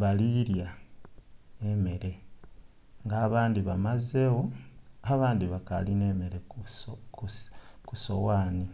bali lya emere nga abandhi bamazegho abandhi bakali nhe emere kusoghani.